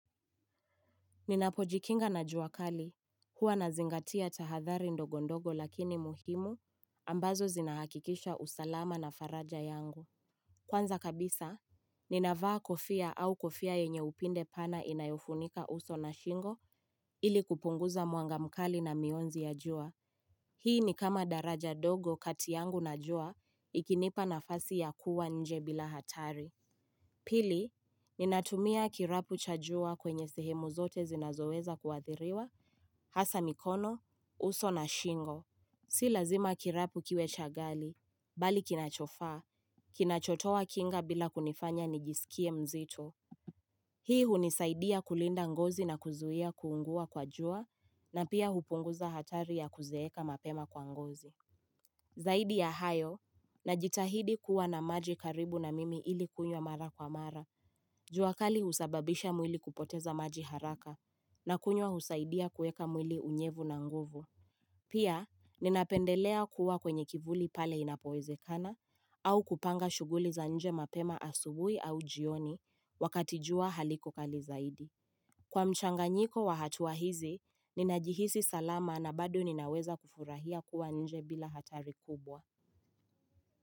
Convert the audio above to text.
Ninapojikinga na juakali, huwa na zingatia tahathari ndogondogo lakini muhimu, ambazo zinahakikisha usalama na faraja yangu. Kwanza kabisa, ninavaa kofia au kofia yenye upinde pana inayofunika uso na shingo ili kupunguza muangamkali na mionzi ya jua. Hii ni kama daraja dogo katiyangu na jua, ikinipa na fasi ya kuwa nje bila hatari. Pili, ninatumia kirapu chajua kwenye sehemu zote zinazoweza kuathiriwa, hasa mikono, uso na shingo. Si lazima kirapu kiwe chagali, bali kinachofa, kinachotowa kinga bila kunifanya nijisikie mzito. Hii hunisaidia kulinda ngozi na kuzuia kuungua kwa jua, na pia hupunguza hatari ya kuzeeka mapema kwa ngozi. Zaidi ya hayo, najitahidi kuwa na maji karibu na mimi ili kunywa mara kwa mara, juakali usababisha mwili kupoteza maji haraka na kunywa usaidia kueka mwili unyevu na nguvu. Pia, ninapendelea kuwa kwenye kivuli pale inapoeze kana au kupanga shuguli za nje mapema asubui au jioni wakatijua haliko kali zaidi. Kwa mchanga nyiko wahatuwa hizi, ninajihisi salama na bado ninaweza kufurahia kuwa nje bila hatari kubwa.